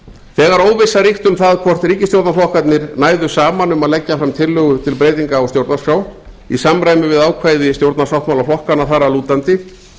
þegar óvissa ríkti um það hvort ríkisstjórnarflokkarnir næðu saman um að leggja fram tillögu til breytinga á stjórnarskrá í samræmi við ákvæði stjórnarsáttmála flokkanna þar að lútandi